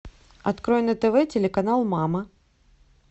открой на тв телеканал мама